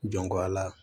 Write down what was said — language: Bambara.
Jɔnko a la